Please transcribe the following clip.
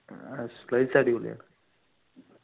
ആഹ് place അടിപൊളിയാണ്